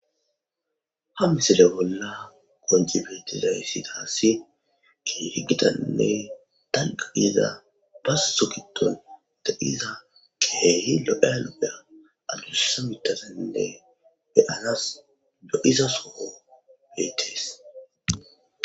ha misile bolla gonji betiza yssi taassi ginirigitanne danqa iyeza bas so giton de7iza keehi lodelopea alussa mitasaninne beyanas lo7izasoo beetees